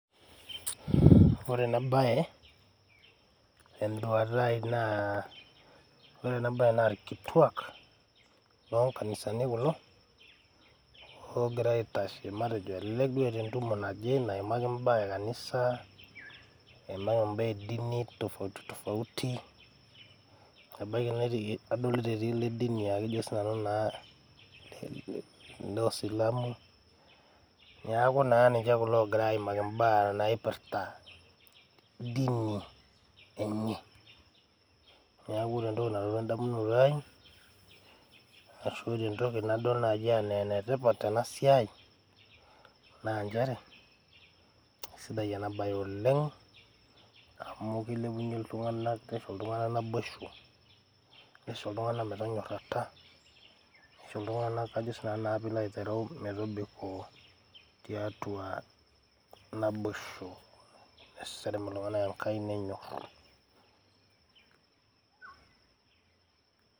Ore ena baye te n`duata ai naa ore ena baye naa ilkituak loo nkannisani kulo loogira aitashe elelek duo eeta embae naje naimaki imba e kanisa imbaa e dini tofauti tofauti ebaiki netii, adolita etii le dini laa kajo sii nanu naa oosilamu. Niaku niche kulo oogira aimaki imbaa naipirta dini enye. Niaku ore entoki nalotu en`damunoto ai ashu ore entoki nadol naanyi enaa ene tipat tena siai naa nchere keisidai ena baye oleng amu keilepunyie iltung`anak neisho iltung`anak naboisho, neisho iltung`anak metonyorata, neisho iltung`anak ajo naa sii nanu pee ilo aitereu metobiko tiatua naboisho. Neserem iltung`anak enkai nenyorru.